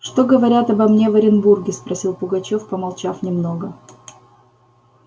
что говорят обо мне в оренбурге спросил пугачёв помолчав немного